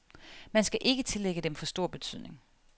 Man skal ikke tillægge dem for stor betydning.